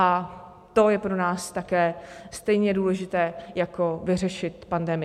A to je pro nás také stejně důležité jako vyřešit pandemii.